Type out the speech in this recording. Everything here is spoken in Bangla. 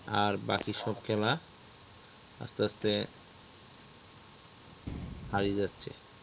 আর বাকি সব খেলা আস্তে আস্তে হারিয়ে যাচ্ছে